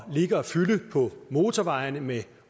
ligger og fylder på motorvejene med